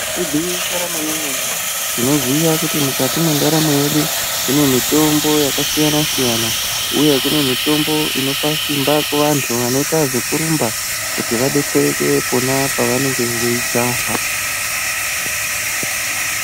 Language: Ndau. Igwinyiso remene-mene tinoziya kuti mukati mwendaramo yedu, kune mitombo yakasiyana siyana, uye kune mitombo inopa simba kuvantu vanoita zvekurumba, kuti vadetsereke pona vanenge veijaha.